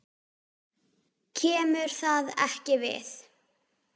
KEMUR ÞAÐ EKKI VIÐ!